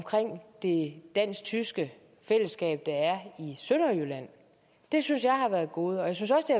det dansk tyske fællesskab der er i sønderjylland det synes jeg har været et gode jeg synes også